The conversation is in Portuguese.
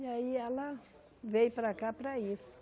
E aí ela veio para cá para isso.